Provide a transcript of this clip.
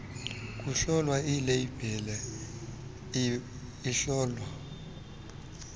kuhlolwa ileyibhile ihlolwa